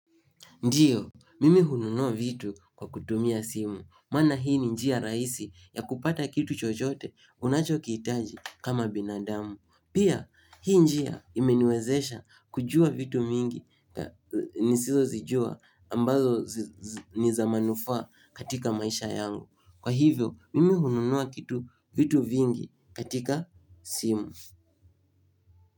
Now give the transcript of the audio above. Ndiyo, mimi hununua vitu kwa kutumia simu, maana hii ni njia rahisi ya kupata kitu chochote unachokihitaji kama binadamu. Pia, hii njia imeniwezesha kujua vitu mingi nisizozijua ambazo niza manufaa katika maisha yangu. Kwa hivyo, mimi hununua kitu vitu vingi katika simu.